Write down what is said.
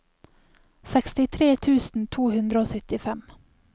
sekstitre tusen to hundre og syttifem